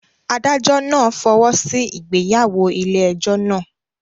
Adájọ́ náà fọwọ́ sí ìgbéyàwó ilé ẹjọ́ náà.